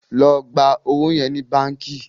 ló gbà owo yẹ ní bánkì!